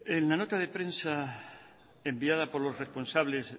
en la nota de prensa enviada por los responsables